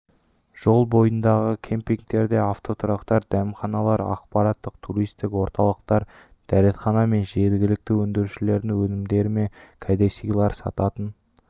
жол бойындағы кемпингтерде автотұрақтар дәмханалар ақпараттық туристік орталықтар дәретхана мен жергілікті өндірушілердің өнімдері мен кәдесыйлар сататын